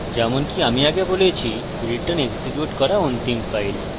যেমনকি আমি আগে বলেছি return হল এক্সিকিউট করা অন্তিম ফাইল